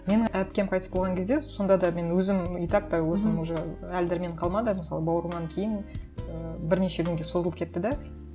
менің әпкем қайтыс болған кезде сонда да мен өзім итак то өзім уже әл дәрменім менің қалмады мысалы бауырымнан кейін ыыы бірнеше күнге созылып кетті де